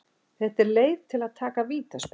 Þetta er leið til að taka vítaspyrnur.